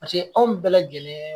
Paseke anw bɛɛ lajɛlen